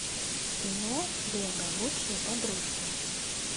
кино лего лучшие подружки